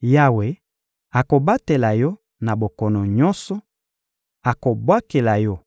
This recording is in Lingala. Yawe akobatela yo na bokono nyonso, akobwakela yo